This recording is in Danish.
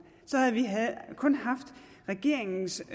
så havde vi kun haft regeringens